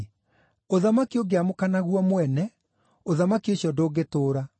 Ũthamaki ũngĩamũkana guo mwene, ũthamaki ũcio ndũngĩtũũra.